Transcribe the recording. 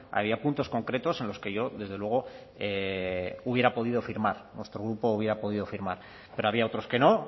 había puntos concretos en los que yo desde luego hubiera podido firmar nuestro grupo hubiera podido firmar pero había otros que no